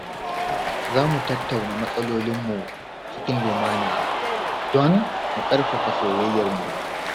Za mu tattauna matsalolinmu cikin lumana don mu ƙarfafa soyayyar mu.